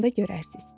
Onda görərsiz.